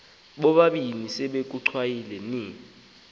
bobabini besekuchwayite ni